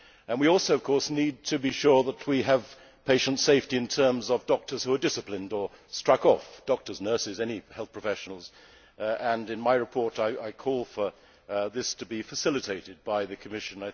We also, of course, need to be sure we have patient safety in terms of doctors who are disciplined or struck off doctors, nurses, any health professionals and in my report, I call for this to be facilitated by the Commission.